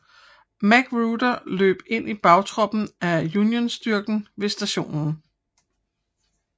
Magruder løb ind i bagtroppen af Unionsstyrken ved Stationen